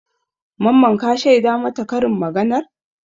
Mamman ka shaida mata karin maganar?